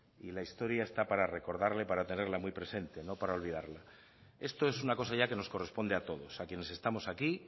y la historia está para recordarla y tenerla muy presente no para olvidarla esto es una cosa que ya nos corresponde a todos a quienes estamos aquí